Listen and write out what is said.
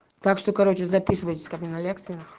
так что короче записывайтесь ко мне на лекции